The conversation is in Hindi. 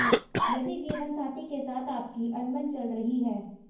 यदि जीवनसाथी के साथ आपकी अनबन चल रही है